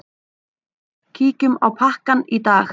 Kíkjum á pakkann í dag.